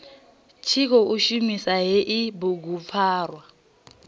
tshi khou shumisa hei bugupfarwa